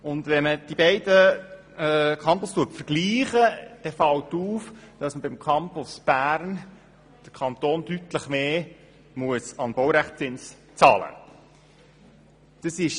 Vergleicht man die beiden Campusse, fällt auf, dass der Kanton beim Campus Bern einen deutlich höheren Baurechtszins zahlen muss.